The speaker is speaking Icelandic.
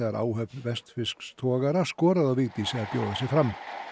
áhöfn vestfirsks togara skoraði á Vigdísi að bjóða sig fram